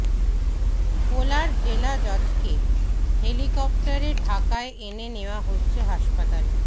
ভোলার জেলা জজকে হেলিকপ্টারে ঢাকায় এনে নেয়া হচ্ছে হাসপাতালে